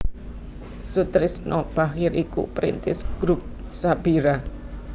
Soetrisno Bachir iku perintis Grup Sabira